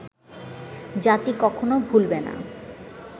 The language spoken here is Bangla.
জাতি কখনো ভুলবে না